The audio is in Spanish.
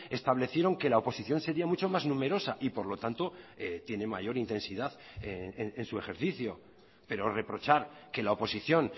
establecieron que la oposición sería mucho más numerosa y por lo tanto tiene mayor intensidad en su ejercicio pero reprochar que la oposición